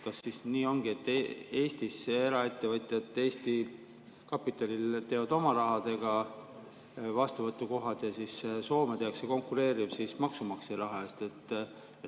Kas siis nii ongi, et Eestisse eraettevõtjad, Eesti kapitalil, teevad oma rahaga vastuvõtukohad ja siis Soome tehakse konkureeriv maksumaksja raha eest?